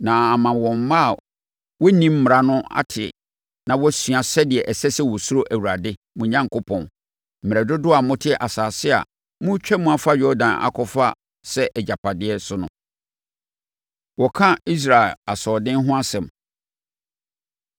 na ama wɔn mma a wɔnnim mmara no ate na wɔasua sɛdeɛ ɛsɛ sɛ wɔsuro Awurade, mo Onyankopɔn, mmerɛ dodoɔ a mote asase a moretwam afa Yordan akɔfa sɛ agyapadeɛ so no.” Wɔka Israel Asoɔden Ho Asɛm